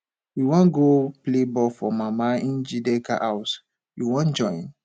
we wan go play football for mama njideka house you wan join